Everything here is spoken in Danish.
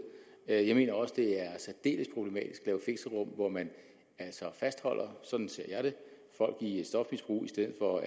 jeg mener også at det er særdeles problematisk at lave fixerum hvor man altså fastholder sådan ser jeg det folk i et stofmisbrug i stedet for